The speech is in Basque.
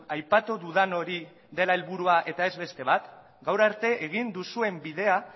aipatu dudan hori dela helburua eta ez beste bat gaur arte egin duzuen bidea